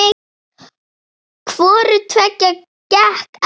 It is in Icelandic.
Hvoru tveggja gekk eftir.